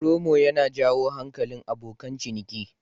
Promo yana jawo hankalin abokan ciniki.